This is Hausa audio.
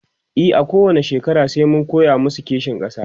e a kowani shekara sai mun koya masu kishin ƙasa